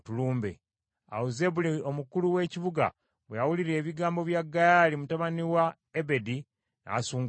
Awo Zebbuli omukulu w’ekibuga bwe yawulira ebigambo bya Gaali mutabani wa Ebedi, n’asunguwala nnyo.